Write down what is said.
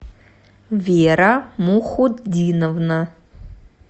вера мухутдиновна